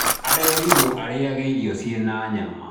Arerirwo arĩĩage irio ciĩna nyama.